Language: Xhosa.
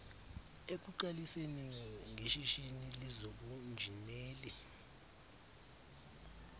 ekuqaliseni ngeshishini lezobunjineli